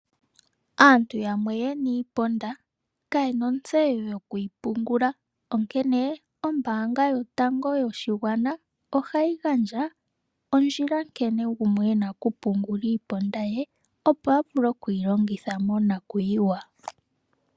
Aantu yamwe ye na iiponda, ka ye na ontseyo yoku yi pungula. Onkene, ombaanga yotango yoshigwana ohayi gandja ondjila nkene gumwe okupungula iiponda ye, opo a vule okuyi longitha monakuyiwa.